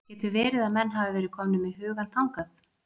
Getur verið að menn hafi verið komnir með hugann þangað?